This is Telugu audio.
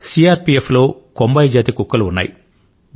సిఆర్ పిఎఫ్ లో కొంబాయి జాతి కుక్కలు ఉన్నాయి